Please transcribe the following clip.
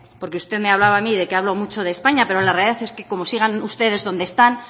porque usted me hablaba a mí de que hablo mucho de españa pero la realidad es que como sigan ustedes donde están